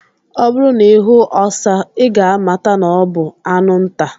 Ọ bụrụ na ihu ọsa, I ga amata na ọ bu anụ nta.